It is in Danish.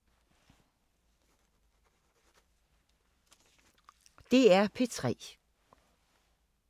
DR P3